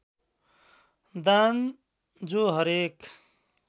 दान जो हरेक